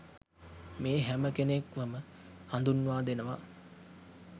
මේ හැම කෙනෙක්වම හදුන්වා දෙනවා.